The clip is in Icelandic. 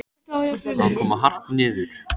Að koma hart niður